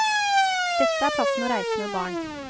Dette er plassen å reise med barn.